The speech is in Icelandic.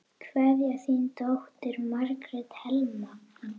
Kveðja, þín dóttir, Margrét Helma.